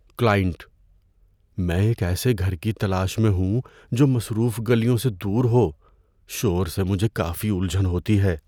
Client: "میں ایک ایسے گھر کی تلاش میں ہوں جو مصروف گلیوں سے دور ہو – شور سے مجھے کافی الجھن ہوتی ہے۔"